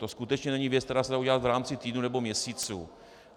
To skutečně není věc, která se dá udělat v rámci týdnů nebo měsíců.